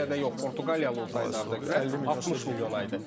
Türkiyədə yox, Portuqaliyalı olsaydı Arda Güler 60 milyona idi.